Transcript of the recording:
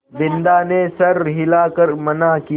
बिन्दा ने सर हिला कर मना किया